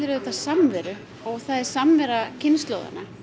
samveru og það er samvera kynslóðanna